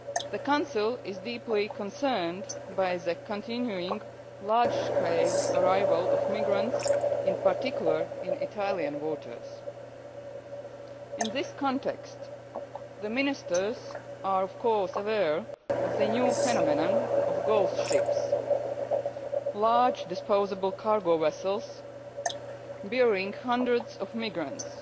The Council is deeply concerned by the continuing large scale arrival of migrants, in particular in Italian waters. In this context the Ministers are, of course, aware of the new phenomenon of ghost ships large disposable cargo vessels bearing hundreds of migrants